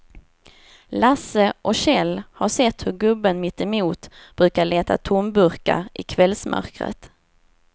Lasse och Kjell har sett hur gubben mittemot brukar leta tomburkar i kvällsmörkret.